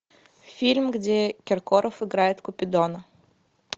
фильм где киркоров играет купидона